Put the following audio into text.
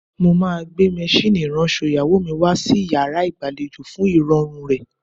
Mo máa gbé maṣíìnì ìránṣọ ìyàwó mi wá sí yàrá ìgbàlejò fún ìrọ̀rùn rẹ̀.